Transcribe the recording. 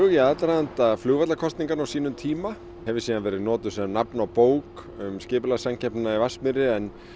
í aðdraganda flugvallakosninganna á sínum tíma hefur síðan verið notuð sem nafn á bók um skipulagssamkeppnina í Vatnsmýri en